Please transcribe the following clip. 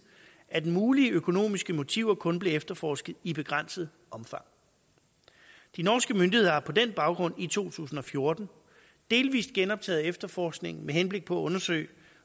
at mulige økonomiske motiver kun blev efterforsket i begrænset omfang de norske myndigheder har på den baggrund i to tusind og fjorten delvis genoptaget efterforskningen med henblik på at undersøge